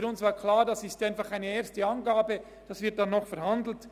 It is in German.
Für uns war klar, dass dies nur eine erste Angabe ist, darüber wird noch verhandelt.